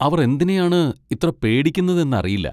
അവർ എന്തിനെയാണ് ഇത്ര പേടിക്കുന്നതെന്നറിയില്ല.